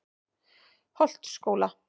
Holtsskóla